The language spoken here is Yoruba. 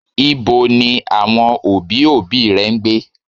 Ibo ni àwọn òbí, òbí rẹ ń gbé?